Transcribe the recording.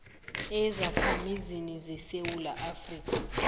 ezakhamizini zesewula afrika